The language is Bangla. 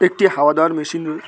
একটি হাওয়া দেওয়ার মেশিন ।